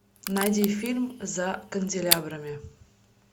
найди фильм за канделябрами